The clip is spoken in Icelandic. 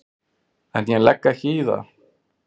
En ég legg ekki í það.